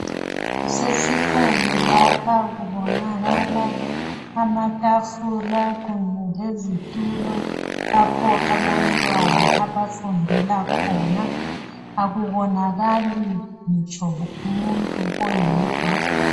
Kusesikolo lapha, kubonakala amatafula kunye lezitulo lapho abantwana abafundela khona. Akubonakali ngitsho umuntu oyedwa.